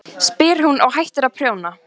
spyr hún og hættir að prjóna.